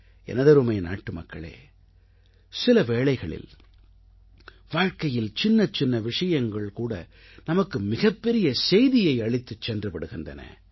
எனதருமை நாட்டுமக்களே சில வேளைகளில் வாழ்க்கையில் சின்னச்சின்ன விஷயங்கள்கூட நமக்கு மிகப்பெரிய செய்தியை அளித்துச் சென்று விடுகின்றன